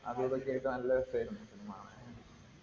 അതുമിതൊക്കെയായിട്ട് നല്ല രസമായിരുന്നു cinema കാണാൻ.